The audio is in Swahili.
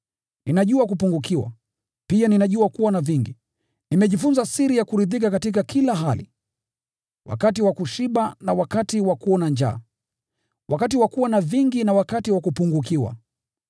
Ninajua kupungukiwa, pia ninajua kuwa na vingi. Nimejifunza siri ya kuridhika katika kila hali, wakati wa kushiba na wakati wa kuona njaa, wakati wa kuwa na vingi na wakati wa kupungukiwa.